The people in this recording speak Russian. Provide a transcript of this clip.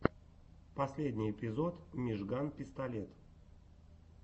последний эпизод мижган пистолет